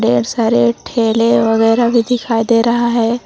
ढ़ेर सारे ठेले वगैरा भी दिखाई दे रहा है।